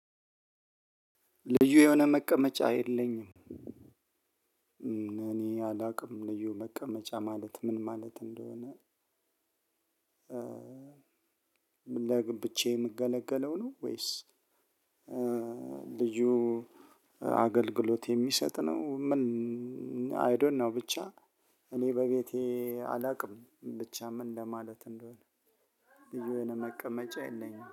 ልዩ የሆነ መቀመጫ የለኝም። እኔ አላውቅም ልዩ መቀመጫ ማለት ምን ማለት እንደሆነ? ዳግም ለብቻየ የምገለገለው ነው። ወይስ? ልዩ አገልግሎት የሚሰጥ ነው? ምን? አይ ዶኖ ብቻ እኔ በቤቴ አላቅም ብቻ ምን ለማለት እንደሆነ? ልዩ የሆነ መቀመጫ የለኝም